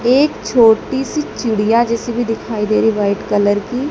एक छोटी सी चिड़िया जैसे कि दिखाई दे रही व्हाइट कलर की।